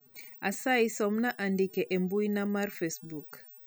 asayi somna andike e mbuina mar facebook